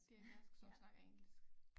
Det er dansk som snakker engelsk